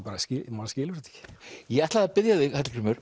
maður skilur þetta ekki ég ætlaði að biðja þig Hallgrímur